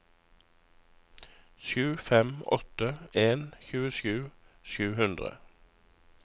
sju fem åtte en tjuesju sju hundre